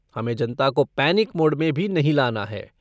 हमें जनता को पैनिक मोड में भी नहीं लाना है।